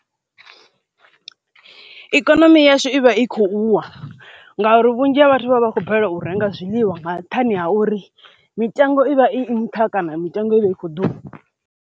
Ikonomi yashu i vha i khou wa ngauri vhunzhi ha vhathu vha vha khou balelwa u renga zwiḽiwa nga nṱhani ha uri mitengo i vha i nṱha kana mitengo ivha i kho ḓuvha.